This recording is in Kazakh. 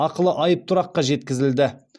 ақылы айыптұраққа жеткізілді